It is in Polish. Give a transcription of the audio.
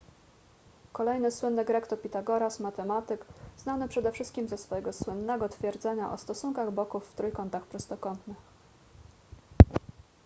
kolejny słynny grek to pitagoras matematyk znany przede wszystkim ze swojego słynnego twierdzenia o stosunkach boków w trójkątach prostokątnych